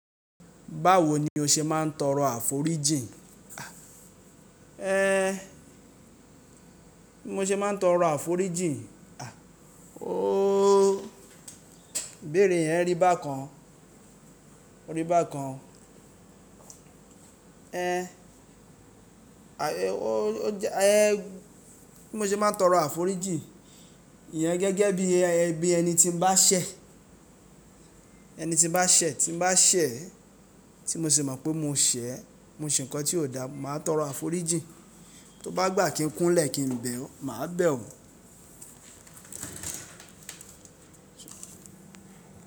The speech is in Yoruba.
Báwo ni o ṣe máa ń tọrọ àforíjìn? Ẹ, bí mo ṣe má ń tọrọ àforíjìn? Oo, ó, ibéèrè yẹn rí bá kan, ó rí bá kan. Ẹ, àye, ó, ó jẹ é, bí mo ṣe má ń tọrọ àforíjìn? Iyẹn gẹ́gẹ́ bí, bí ẹni tí ń bá ṣẹ̀, ẹni tí ń bá ṣẹ̀, tí ń bá ṣẹ̀, tí mo ṣe mọ̀ pé mo ṣẹ̀, mo ṣe nǹkan tí ò da, màá tọrọ àforíjìn. Tó bá gbà kí ń kúnlẹ̀ kí ń bẹ̀ ọ́, màá bẹ̀ ọ́.